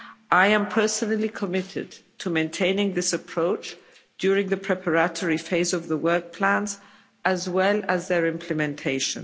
I am personally committed to maintaining this approach during the preparatory phase of the work plans as well as their implementation.